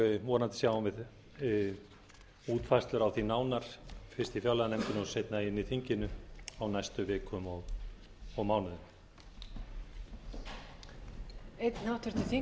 vonandi sjáum við nánari útfærslur á því nánar fyrst í fjárlaganefndinni og seinna inni í þinginu á næstu vikum og mánuðum